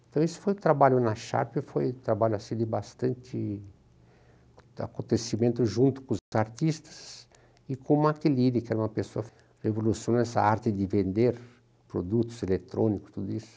Então, isso foi o trabalho na Sharp, foi um trabalho assim, de bastante acontecimento junto com os artistas e com o, que era uma pessoa que revolucionou essa arte de vender produtos eletrônicos, tudo isso.